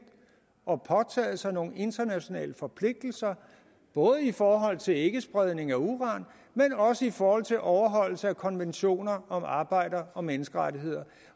og påtaget sig nogle internationale forpligtelser både i forhold til ikkespredning af uran men også i forhold til overholdelse af konventioner om arbejder og menneskerettigheder